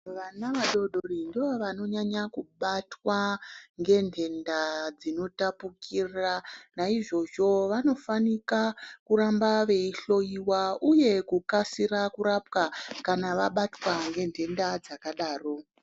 Vana vadodori ndovanonyanga kubatwa ngenhenda dzinotapukira naizvozvo vanofanika kuramba veihlowiwa uye kukasira kurapwa kana vabatwa ngenhenda dzakadaro.